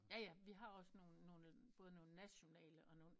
Jaja vi har også nogen nogen både nationale og nogen